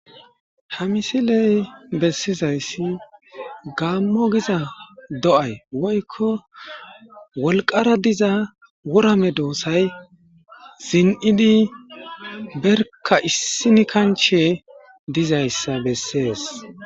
Ha missilezi besizayis gammo gizza do'ayi woyiko wolqqara dizza wora meddosay hayi ziniidi berkka issini kanchche dizayissa besess.